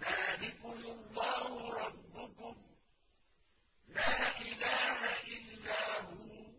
ذَٰلِكُمُ اللَّهُ رَبُّكُمْ ۖ لَا إِلَٰهَ إِلَّا هُوَ ۖ